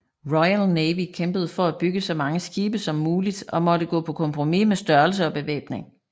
Royal Navy kæmpede for at bygge så mange skibe som muligt og måtte gå på kompromis med størrelse og bevæbning